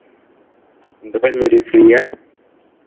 എന്താ പരിപാടി? free യാ?